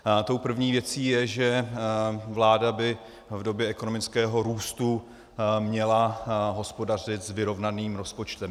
Tou první věcí je, že vláda by v době ekonomického růstu měla hospodařit s vyrovnaným rozpočtem.